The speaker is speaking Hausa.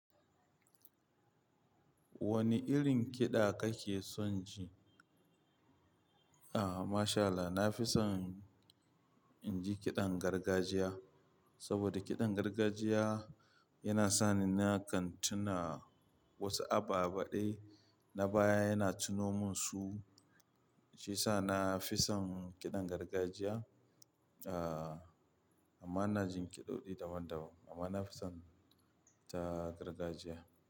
Wani irin kiɗa kake son ji? Ah, masha Allah, na fi son in ji kiɗan gargajiya. Saboda kiɗan gargajiya yana sani na kan tuna wasu aba ba baɗai. Na baya yana tuno mun su, shi ya sa na fi son kiɗan gargajiya. Ah, amma ina jin kiɗoɗi daban-daban, amma na fi son ta gargajiya.